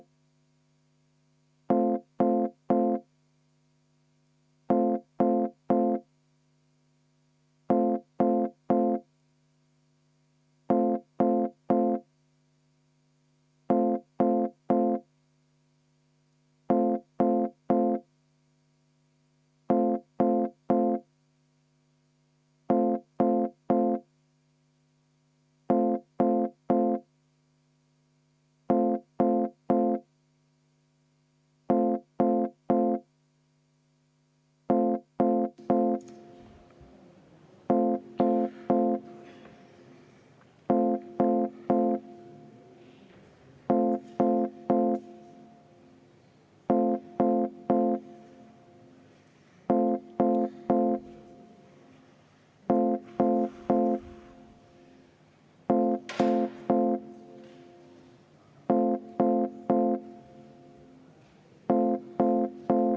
V a h e a e g